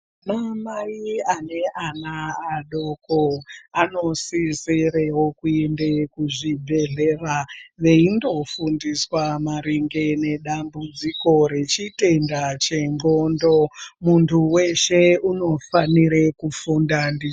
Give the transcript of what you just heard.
Ana Mai ane ana adoko anosisirewo kuende kuzvibhedhlera veindoofundiswa maringe nedambudziko rechitenda chexhondo .Muntu weshe unofanire kufunda ndi .